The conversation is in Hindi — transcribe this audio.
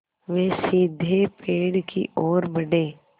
वे सीधे पेड़ की ओर बढ़े